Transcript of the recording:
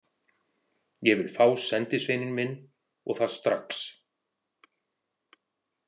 Ég vil fá sendisveininn minn, og það strax.